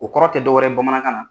O kɔrɔ tɛ dɔwɛrɛ ye bamanankan na.